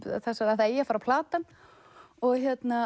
það eigi að fara að plata hann og